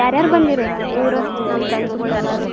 ಯಾರ್ಯಾರ್ ಬಂದಿರ್ ಇವ್ರ ನಮ್ friends ಒಳಗ ಎಲ್ಲಾರು.